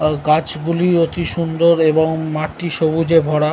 গাছগুলি অতি সুন্দর এবং মাঠটি সবুজে ভরা।